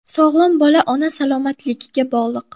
Sog‘lom bola ona salomatligiga bog‘liq.